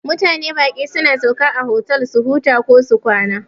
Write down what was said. Mutane baƙi suna sauka a otal su huta kosu kwana.